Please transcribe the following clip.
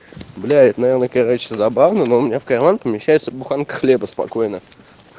бля это наверное короче забавно но у меня в карман помещается буханка хлеба спокойно